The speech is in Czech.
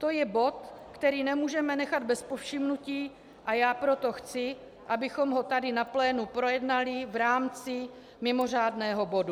To je bod, který nemůžeme nechat bez povšimnutí, a já proto chci, abychom ho tady na plénu projednali v rámci mimořádného bodu.